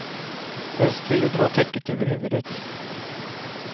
Helst vill du dra täcket över huvudet.